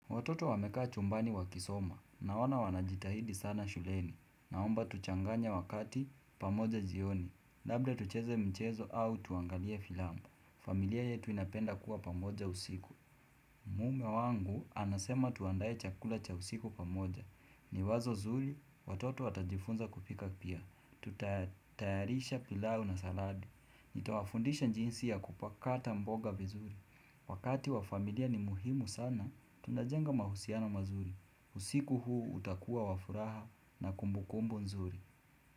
Watoto wamekaa chumbani wakisoma, naona wanajitahidi sana shuleni, naomba tuchanganye wakati pamoja jioni, labda tucheze mchezo au tuangalie filamu, familia yetu inapenda kuwa pamoja usiku. Mume wangu anasema tuandae chakula cha usiku pamoja, ni wazo zuri, watoto watajifunza kupika pia, tutatayarisha pilau na saladi. Nitawafundisha jinsi ya kupakata mboga vizuri. Wakati wa familia ni muhimu sana, tunajenga mahusiana mazuri. Usiku huu utakuwa wa furaha na kumbukumbu nzuri.